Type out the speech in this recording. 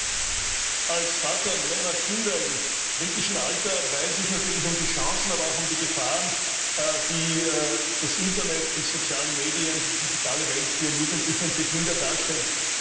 Herr Präsident! Als Vater mehrerer Kinder im kritischen Alter weiß ich natürlich um die Chancen, aber auch um die Gefahren, die das Internet, die sozialen Medien, die digitale Welt für Jugendliche und für Kinder darstellt.